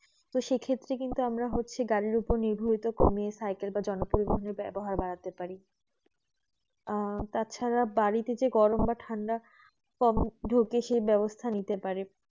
সেই ক্ষেত্র কিন্তু আমরা হচ্ছে গাড়ি উপর নির্ভয় ওটা কমিয়ে সাইকেল বা জনপ্রিয় ব্যবহার বাড়াতে পারি আহ তাছাড়া বাড়িতে গরম বা ঠান্ডা কম ঢুকে সেই ব্যবস্থা নিতে পারি